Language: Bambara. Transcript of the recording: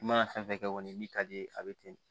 I mana fɛn fɛn kɛ kɔni min ka d'i ye a bɛ ten de